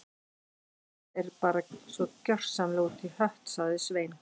Þetta er bara svo gjörsamlega út í hött- sagði Svein